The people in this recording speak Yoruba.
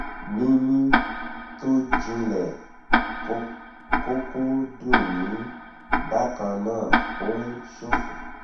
mímí tó jinlẹ kọkọ dunni bákan náà ó ń ṣọfọ